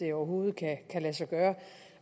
det overhovedet kan lade sig gøre